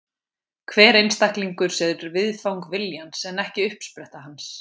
Hver einstaklingur er viðfang viljans en ekki uppspretta hans.